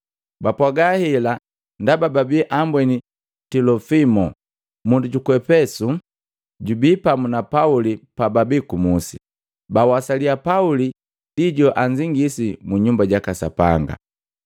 Bapwaaga hela ndaba babi ambweni Tilofimo, mundu juku Epesu, jubi pamu na Pauli pababi kumusi, bawasaliya Pauli joanzingisi mu Nyumba jaka Sapanga.